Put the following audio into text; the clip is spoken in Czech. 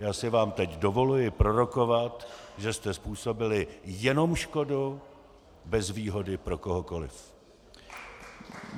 Já si vám teď dovoluji prorokovat, že jste způsobili jenom škodu, bez výhody pro kohokoliv.